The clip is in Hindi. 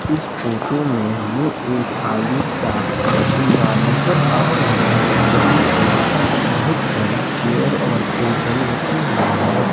इस फोटो में हमें एक खाली सा नजर आ रहा है यहां पर बहुत सारी चेयर और टेबल रखी हुई है।